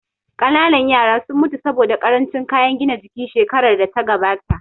Ƙanana yaran sun mutu saboda ƙarancin kayan gina jiki shekarar da ta gabata